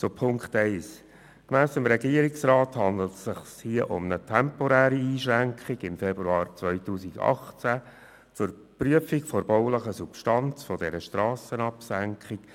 Zu Ziffer 1: Gemäss dem Regierungsrat handelt es sich um eine inzwischen aufgehobene temporäre Einschränkung im Februar 2018 zur Prüfung der baulichen Substanz einer Strassenabsenkung.